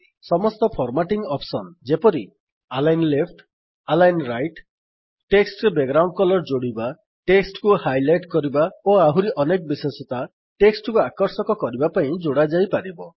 ସମସ୍ତ formatting options ଯେପରି କି - align left align right text ରେ ବ୍ୟାକଗ୍ରାଉଣ୍ଡ କଲର ଯୋଡିବା ଟେକ୍ସଟ୍ କୁ ହାଇଲାଇଟ୍ କରିବା ଓ ଆହୁରି ଅନେକ ବିଶେଷତା ଟେକ୍ସଟ୍ କୁ ଆକର୍ଷକ କରିବା ପାଇଁ ଯୋଡ଼ା ଯାଇପାରିବ